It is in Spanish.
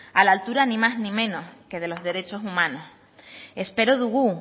a la altura ni más ni menos que de los derechos humanos espero dugu